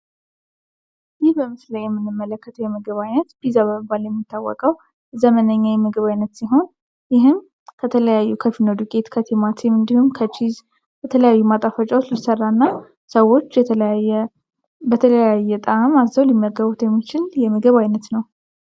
ይህ በምስሉ ላይ የምንመለከተዉ የምግብ አይነት ፒዛ በመባል የሚታወቀዉ ዘመነኛ የምግብ አይነት ሲሆን ይህም ከተለያዩ ከፍርኖ ዱቄት ከቲማቲም እንዲሁም ከችዝ ከተለያዩ ማጣፈጫወች ሊሰራና ሰወች በተለያየ ጣዕም አዝዘዉ ሊመገቡት የሚችሉ የምግብ አይነት ነዉ።